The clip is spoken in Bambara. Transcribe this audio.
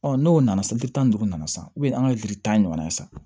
n'o nana seli tan ni duuru nana san an ka gili tan ɲɔgɔnna san